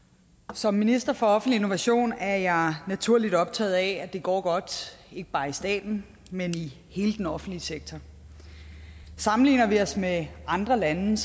som minister for offentlig innovation er jeg naturligt optaget af at det går godt ikke bare i staten men i hele den offentlige sektor sammenligner vi os med andre lande